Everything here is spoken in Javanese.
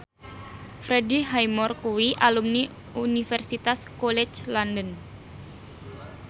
Freddie Highmore kuwi alumni Universitas College London